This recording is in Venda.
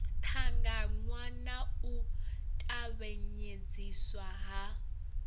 ṱangaṋwa na u tavhanyedziswa ha